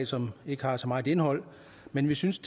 som ikke har så meget indhold men vi synes